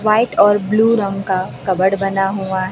white और रंग का कपबोर्ड बना हुआ--